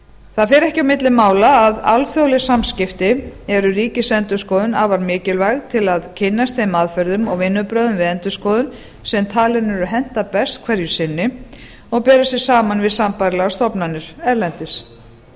það fer ekki á milli mála að alþjóðleg samskipti eru ríkisendurskoðun afar mikilvæg til að kynnast þeim aðferðum og vinnubrögðum við endurskoðun sem talin eru henta best hverju sinni og bera sig saman við sambærilegar stofnanir erlendis